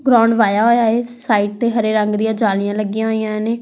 ground ਵਾਹਿਆ ਹੋਇਆ ਹੈ ਸਾਈਡ ਤੇ ਹਰੇ ਰੰਗ ਦੀਆਂ ਜਾਲੀਆਂ ਲੱਗੀਆਂ ਹੋਈਆਂ ਨੇ --